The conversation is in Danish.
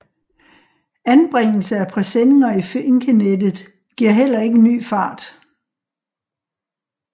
Anbringelse af presenninger i finkenettet giver heller ikke ny fart